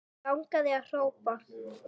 Langaði að hrópa